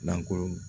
Lankolon